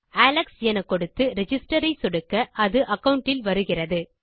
Alex என கொடுத்து register ஐ சொடுக்க அது அகாவுண்ட் இல் வருகிறது